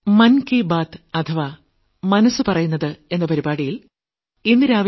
മലയാള പരിഭാഷ